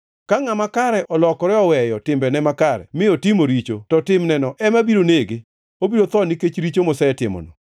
Ka ngʼama kare olokore oweyo timbene makare mi otimo richo to timneno ema biro nege. Obiro tho nikech richo mosetimono.